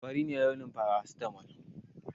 Fari ne launin faracitamal